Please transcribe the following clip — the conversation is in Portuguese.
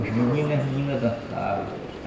Os meninos e as meninas dançavam.